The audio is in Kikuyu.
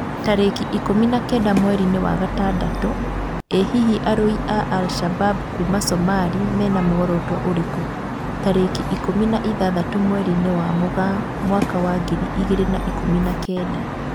Tarĩki ikũmi na kenda mweri-inĩ wa gatandatũ: ĩ hihi arũi a Al-shabab kuma Sumarĩ mena muoroto ũrĩkũ? tarĩki ikũmi na ithathatũ mweri-inĩ wa Mũgaa mwaka wa ngiri igĩrĩ na ikũmi na kenda